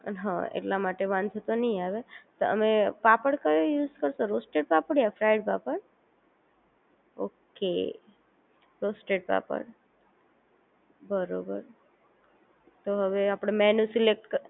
હા એટલા માટે વાંધો તો નહીં આવે તમે પાપડ કયો યુઝ કરશો રોસ્ટેડ પાપડ યા ફ્રાય પાપડ ઓકે રોસ્ટેડ પાપડ બરોબર ઓ હવે આપડે મેનૂ સિલેકટ